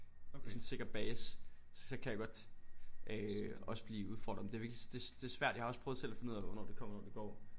Sådan en sikker base så kan jeg godt øh også blive udfordret men det er virkelig det det svært jeg har også selv prøvet at finde ud af hvornår det kommer og hvornår det går